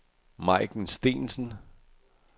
Majken Steensen